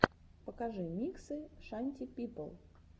покажи миксы шанти пипл